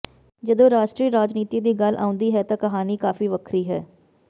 ਜਦੋਂ ਰਾਸ਼ਟਰੀ ਰਾਜਨੀਤੀ ਦੀ ਗੱਲ ਆਉਂਦੀ ਹੈ ਤਾਂ ਕਹਾਣੀ ਕਾਫ਼ੀ ਵੱਖਰੀ ਹੈ